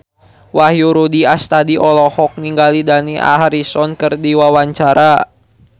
Wahyu Rudi Astadi olohok ningali Dani Harrison keur diwawancara